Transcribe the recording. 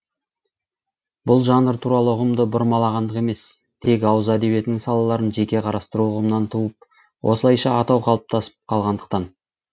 бұл жанр туралы ұғымды бұрмалағандық емес тек ауыз әдебиетінің салаларын жеке қарастыру ұғымынан туып осылайша атау қалыптасып қалғандықтан